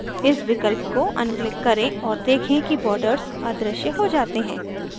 इस विकल्प को अनक्लिक करें और देखें कि borders अदृश्य हो जाते हैं